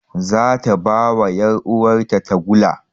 Zata bawa yar uwar ta tagulla